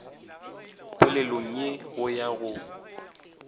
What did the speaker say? polelong ye go ya go